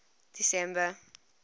december